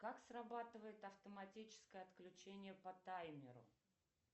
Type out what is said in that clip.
как срабатывает автоматическое отключение по таймеру